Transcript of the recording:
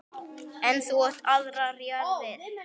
En þú átt aðrar jarðir.